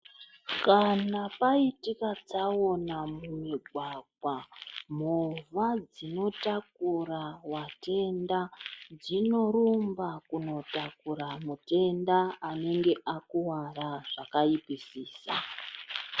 Kana paitika tsaona mumugwagwa movha dzinotakura watenda dzinorumba kunotakura mutenda anenge akuwara zvakaipisisa.